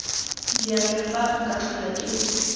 diatla fa nka tlhola ke